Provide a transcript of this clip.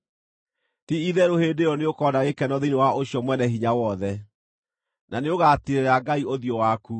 Ti-itherũ, hĩndĩ ĩyo nĩũkona gĩkeno thĩinĩ wa ũcio Mwene-Hinya-Wothe, na nĩũgatiirĩra Ngai ũthiũ waku.